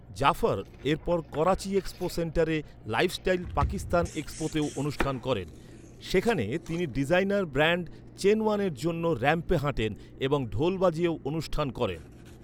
জাফর এরপর করাচি এক্সপো সেন্টারে লাইফস্টাইল পাকিস্তান এক্সপোতেও অনুষ্ঠান করেন, যেখানে তিনি ডিজাইনার ব্র্যান্ড চেনওয়ানের জন্য র‍্যাম্পে হাঁটেন এবং ঢোল বাজিয়েও অনুষ্ঠান করেন।